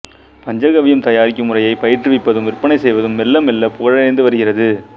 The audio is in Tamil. பஞ்சகவ்யம் தயாரிக்கும் முறையைப் பயிற்றுவிப்பதும் விற்பனை செய்வதும் மெல்ல மெல்ல புகழடைந்து வருகிறது